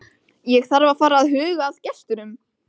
Ég þarf að fara að huga að gestunum.